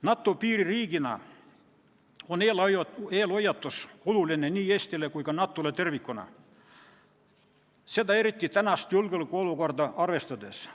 NATO piiririigina on eelhoiatus oluline nii Eestile kui ka NATO-le tervikuna, seda eriti praegust julgeolekuolukorda arvestades.